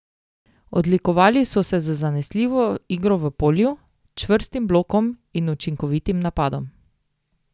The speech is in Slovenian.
Odlikovali so se z zanesljivo igro v polju, čvrstim blokom in učinkovitim napadom.